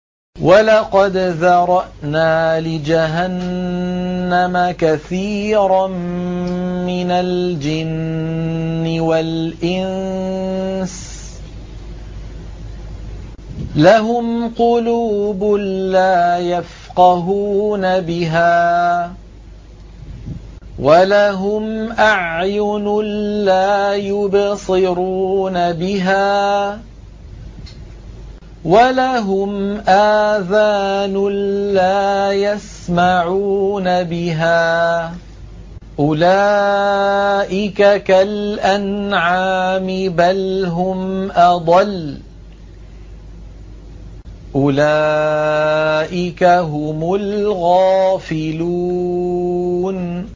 وَلَقَدْ ذَرَأْنَا لِجَهَنَّمَ كَثِيرًا مِّنَ الْجِنِّ وَالْإِنسِ ۖ لَهُمْ قُلُوبٌ لَّا يَفْقَهُونَ بِهَا وَلَهُمْ أَعْيُنٌ لَّا يُبْصِرُونَ بِهَا وَلَهُمْ آذَانٌ لَّا يَسْمَعُونَ بِهَا ۚ أُولَٰئِكَ كَالْأَنْعَامِ بَلْ هُمْ أَضَلُّ ۚ أُولَٰئِكَ هُمُ الْغَافِلُونَ